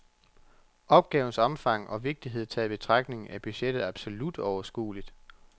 Opgavens omfang og vigtighed taget i betragtning er budgettet absolut overskueligt.